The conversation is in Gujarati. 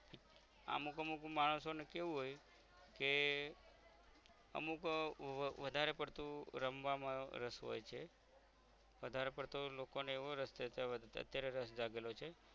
અમુક અમુક માણસો ને કેવું હોય કે અમુક આહ વધારે પડતું રમવામાં રસ હોય છે વધારે પડતું લોકોને એવો રસ છે અત્યારે રસ જાગેલો છે